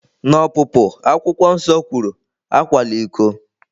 N'Ọpụpụ, Akwụkwọ Nsọ kwuru, "Akwala iko!"